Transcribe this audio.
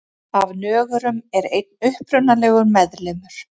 Af nögurum er einn upprunalegur meðlimur.